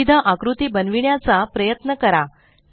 विविध आकृती बनविण्याचा प्रयत्न करा